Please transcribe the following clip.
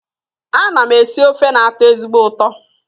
Ana m esi ofe na-atọ ezigbo ụtọ